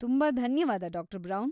ತುಂಬಾ ಧನ್ಯವಾದ ಡಾ. ಬ್ರೌನ್.